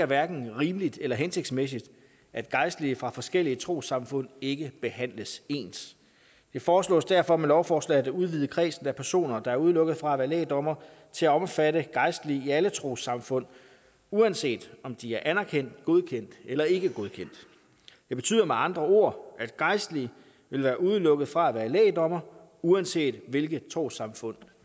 hverken er rimeligt eller hensigtsmæssigt at gejstlige fra forskellige trossamfund ikke behandles ens det foreslås derfor med lovforslaget at udvide kredsen af personer der er udelukket fra at være lægdommere til at omfatte gejstlige i alle trossamfund uanset om de er anerkendt godkendt eller ikkegodkendt det betyder med andre ord at gejstlige vil være udelukket fra at være lægdommere uanset hvilket trossamfund